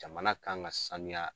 Jamana kan ka sanuya.